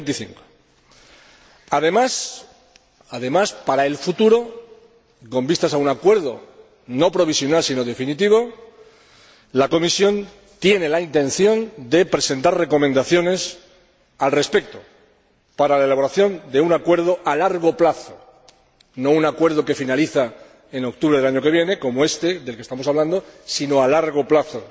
25. Además, para el futuro, y con vistas a un acuerdo, no provisional, sino definitivo, la Comisión tiene la intención de presentar recomendaciones al respecto, para la elaboración de un acuerdo a largo plazo, no un acuerdo que finalice en octubre del año que viene, como éste del que estamos hablando, sino a largo plazo.